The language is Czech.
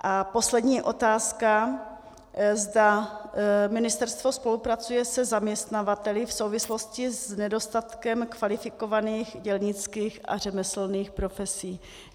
A poslední otázka, zda ministerstvo spolupracuje se zaměstnavateli v souvislosti s nedostatkem kvalifikovaných dělnických a řemeslných profesí.